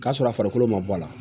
K'a sɔrɔ a farikolo ma bɔ a la